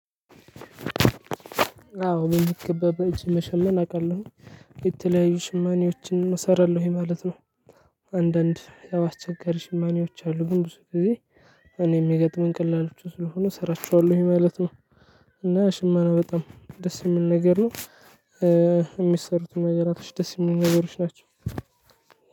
አዎ በሚገባ በእጅ መሸመን አውቃለሁኝ የተለያዩ ሽማኔዎችን እሰራለሁኝ ማለት ነው። አንዳንድ ያው አስቸጋሪ ሽማኔዎች አሉ። ግን ብዙ ጊዜ እኔ የሚገጥመኝ ቀላሎቹ ስለሆኑ እሰራቸዋለሁኝ ማለት ነው። እና ሽመና በጣም ደስ የሚል ነገር ነው። እሚሰሩትም ነገራቶች ደስ የሚሉ ነገሮች ናቸው።